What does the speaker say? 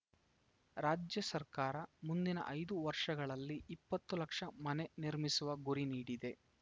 ರಾಜ್ಯ ಸರ್ಕಾರ ಮುಂದಿನ ಐದು ವರ್ಷಗಳಲ್ಲಿ ಇಪ್ಪತ್ತು ಲಕ್ಷ ಮನೆ ನಿರ್ಮಿಸುವ ಗುರಿ ನೀಡಿದೆ